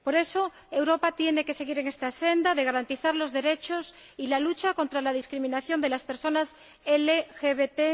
Por eso, Europa tiene que seguir en esta senda de garantía de los derechos y de lucha contra la discriminación de las personas LGBT.